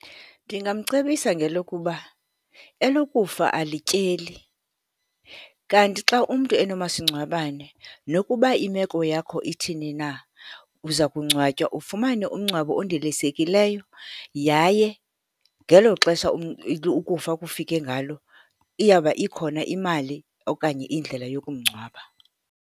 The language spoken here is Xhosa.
Ndingamcebisa ngelokuba, elokufa alityeli, kanti xa umntu enomasingcwabane, nokuba imeko yakho ithini na, uza kungcwatywa. Ufumane umngcwabo ondilisekileyo yaye ngelo xesha ukufa kufike ngalo, iyawuba ikhona imali okanye indlela yokumngcwaba.